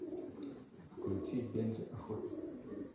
включи бенджи охотник